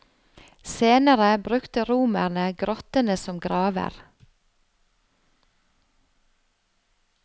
Senere brukte romerne grottene som graver.